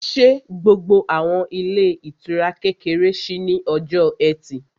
Ṣé gbogbo àwọn ilé ìtura kékeré ṣí ní ọjọ́ ẹtì?